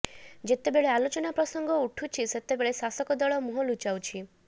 ଯେତେବେଳେ ଆଲୋଚନା ପ୍ରସଙ୍ଗ ଉଠୁଛି ସେତେବେଳେ ଶାସକ ଦଳ ମୁହଁ ଲୁଚାଉଛି